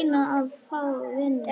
Reyna að fá vinnu?